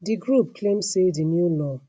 di group claim say di new law